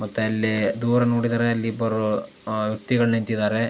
ಮತ್ತೆ ಇಲ್ಲಿ ದೂರ ನೋಡಿದರೆ ಅಲ್ಲಿ ಇಬ್ಬರು ವ್ಯತ್ತಿಗಳು ನಿಂತಿದ್ದಾರೆ.